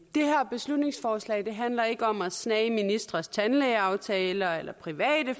det her beslutningsforslag handler ikke om at snage i ministres tandlægeaftaler eller private